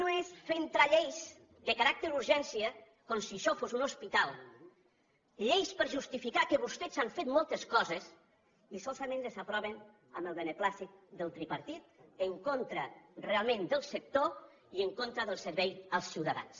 no és bonic fer lleis amb caràcter d’urgència com si això fos un hospital lleis per justificar que vostès han fet moltes coses i solament les aproven amb el beneplàcit del tripartit en contra realment del sector i en contra del servei als ciutadans